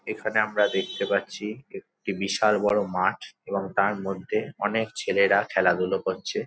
এখানে আমরা দেখতে পাচ্ছি একটি বিশাল বড় মাঠ এবং তার মধ্যে অনেক ছেলেরা খেলাধুলা করছে।